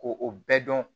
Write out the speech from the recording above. Ko o bɛɛ dɔn